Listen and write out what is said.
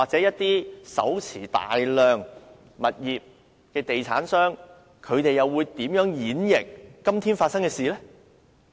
一些手持大量物業的地產商，又會如何解讀這次事件？